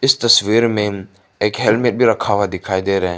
इस तस्वीर में एक हेलमेट भी रखा हुआ दिखाई दे रहा हैं।